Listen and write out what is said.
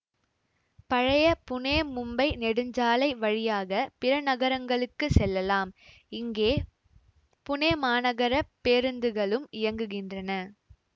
பழைய புனேமும்பை நெடுஞ்சாலை வழியாக பிற நகரங்களுக்கு செல்லலாம் இங்கே புனே மாநகரப் பேருந்துகளும் இயங்குகின்றன